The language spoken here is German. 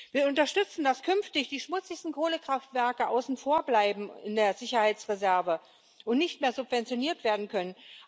Wir unterstützen, dass künftig die schmutzigsten Kohlekraftwerke außen vor bleiben in der Sicherheitsreserve und nicht mehr subventioniert werden können.